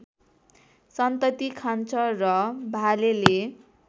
सन्तति खान्छ र भालेले